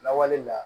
Lawale la